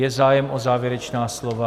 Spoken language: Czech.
Je zájem o závěrečná slova?